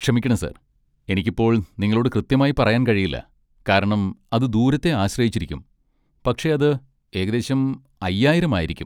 ക്ഷമിക്കണം സർ, എനിക്ക് ഇപ്പോൾ നിങ്ങളോട് കൃത്യമായി പറയാൻ കഴിയില്ല, കാരണം അത് ദൂരത്തെ ആശ്രയിച്ചിരിക്കും, പക്ഷേ അത് ഏകദേശം അയ്യായിരം ആയിരിക്കും.